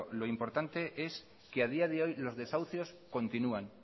lo importante es que a día de hoy los desahucios continúan